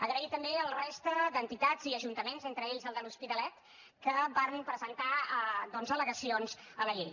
agrair també a la resta d’entitats i ajuntaments entre ells el de l’hospitalet que varen presentar al·legacions a la llei